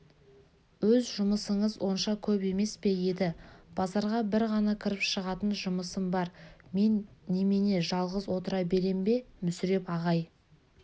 өз жұмысыңыз онша көп емес пе еді базарға бір ғана кіріп шығатын жұмысым бар мен немене жалғыз отыра берем бе мүсіреп ағай